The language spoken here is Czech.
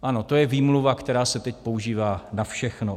Ano, to je výmluva, která se teď používá na všechno.